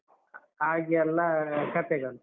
ಹಾಗೆಲ್ಲ ಅಹ್ ಕಥೆಗಳು.